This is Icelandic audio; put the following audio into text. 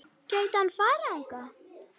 En gæti hann farið þangað?